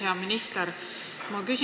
Hea minister!